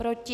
Proti?